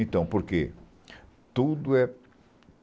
Então, por quê?